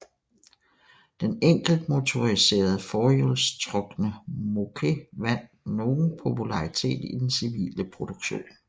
Den enkeltmotoriserede forhjulstrukne Moke vandt nogen popularitet i den civile produktion